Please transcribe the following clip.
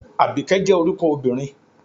Àbíkẹ́ jẹ́ orúkọ obìnrin